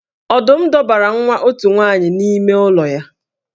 Ọdum dọbara nwa otu nwaanyị n’ime ụlọ ya